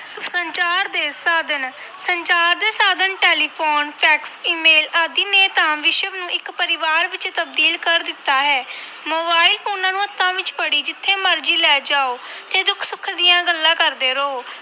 ਸੰਚਾਰ ਦੇ ਸਾਧਨ ਸੰਚਾਰ ਦੇ ਸਾਧਨ telephone, fax, email ਆਦਿ ਨੇ ਤਾਂ ਵਿਸ਼ਵ ਨੂੰ ਇੱਕ ਪਰਿਵਾਰ ਵਿੱਚ ਤਬਦੀਲ ਕਰ ਦਿੱਤਾ ਹੈ ਮੋਬਾਇਲ ਫ਼ੋਨਾਂ ਨੂੰ ਹੱਥਾਂ ਵਿੱਚ ਫੜੀ ਜਿੱਥੇ ਮਰਜ਼ੀ ਲੈ ਜਾਓ ਤੇ ਦੁੱਖ ਸੁੱਖ ਦੀਆਂ ਗੱਲਾਂ ਕਰਦੇ ਰਹੋ।